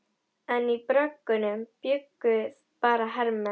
En í bröggunum bjuggu bara hermenn.